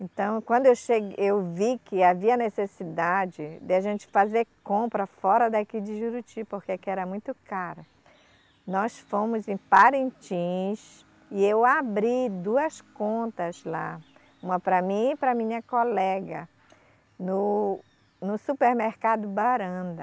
Então, quando eu chegue, eu vi que havia necessidade de a gente fazer compra fora daqui de Juruti, porque aqui era muito caro, nós fomos em Parintins e eu abri duas contas lá, uma para mim e para minha colega, no, no supermercado Baranda.